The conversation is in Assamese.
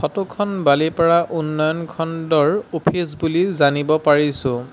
ফটো খন বালিপাৰা উন্নয়ন খণ্ডৰ অ'ফিচ বুলি জানিব পাৰিছোঁ।